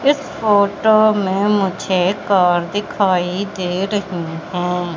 इस फोटो में मुझे कार दिखाई दे रही हैं।